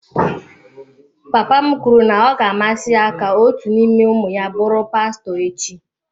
Papa m kwuru na ọ ga-amasị ya ka otu n'ime ụmụ ya bụrụ pastọ echi.